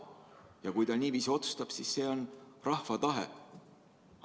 Ja kui ta niiviisi otsustab, siis see on rahva tahe.